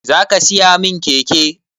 Zaka siya min keke